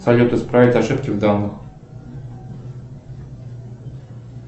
салют исправить ошибки в данных